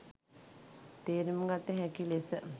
තේරුම් ගත හැකි ලෙස